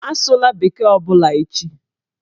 Asụla bekee ọbụla echi!